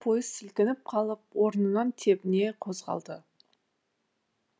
ескі пойыз сілкініп қалып орнынан тебіне қозғалды